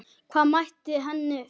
Hvað mætti henni þar?